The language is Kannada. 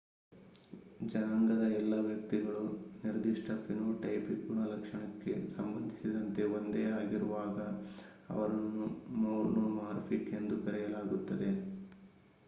ಜನಾಂಗದ ಎಲ್ಲ ವ್ಯಕ್ತಿಗಳು ನಿರ್ದಿಷ್ಟ ಫಿನೋಟೈಪಿಕ್ ಗುಣಲಕ್ಷಣಕ್ಕೆ ಸಂಬಂಧಿಸಿದಂತೆ ಒಂದೇ ಆಗಿರುವಾಗ ಅವರನ್ನು ಮೊನೊಮಾರ್ಫಿಕ್ ಎಂದು ಕರೆಯಲಾಗುತ್ತದೆ